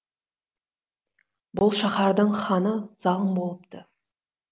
бұл шаһардың ханы залым болыпты